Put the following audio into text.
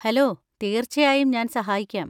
Hello, തീർച്ചയായും, ഞാൻ സഹായിക്കാം.